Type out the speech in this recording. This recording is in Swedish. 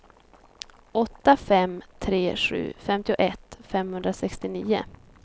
åtta fem tre sju femtioett femhundrasextionio